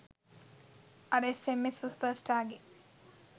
අර S M S සුපර්ස්ටාර්ගෙ